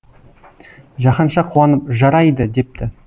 жаһанша қуанып жарайды депті